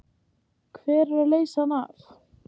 Hver á að leysa hann af?